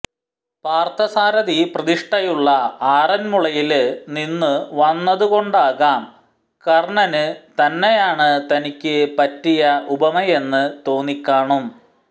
പാര്ത്ഥസാരഥി പ്രതിഷ്ഠയുള്ള ആറന്മുളയില് നിന്നു വന്നതുകൊണ്ടാകാം കര്ണന് തന്നെയാണ് തനിക്ക് പറ്റിയ ഉപമയെന്ന് തോന്നിക്കാണും